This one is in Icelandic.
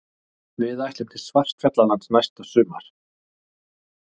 Við ætlum til Svartfjallalands næsta sumar.